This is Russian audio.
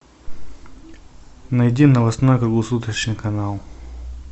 найди новостной круглосуточный канал